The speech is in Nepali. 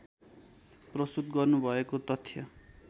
प्रस्तुत गर्नुभएको तथ्य